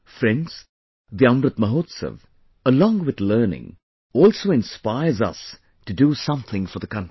Friends, the Amrit Mahotsav, along with learning, also inspires us to do something for the country